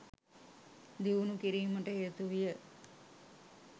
දියුණූ කිරීමට හේතුවිය.